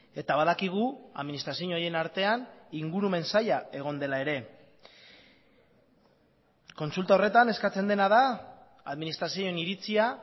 eta badakigu administrazio horien artean ingurumen saila egon dela ere kontsulta horretan eskatzen dena da administrazioen iritzia